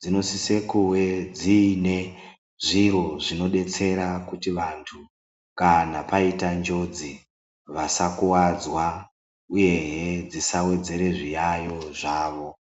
dzinosise kuve dziine zviro zvinodetsera kuti vantu kana paita njodzi vasakuvadzwa ,uyehe dzisa vedzere zviyayo zvavo.